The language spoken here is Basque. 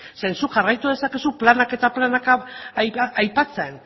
zeren zuk jarraitu dezakezu planak eta planak aipatzen